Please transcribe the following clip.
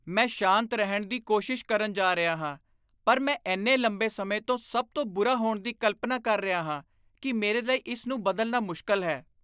ਮੈਂ ਸ਼ਾਂਤ ਰਹਿਣ ਦੀ ਕੋਸ਼ਿਸ਼ ਕਰਨ ਜਾ ਰਿਹਾ ਹਾਂ ਪਰ ਮੈਂ ਇੰਨੇ ਲੰਬੇ ਸਮੇਂ ਤੋਂ ਸਭ ਤੋਂ ਬੁਰਾ ਹੋਣ ਦੀ ਕਲਪਨਾ ਕਰ ਰਿਹਾ ਹਾਂ ਕਿ ਮੇਰੇ ਲਈ ਇਸ ਨੂੰ ਬਦਲਣਾ ਮੁਸ਼ਕਲ ਹੈ।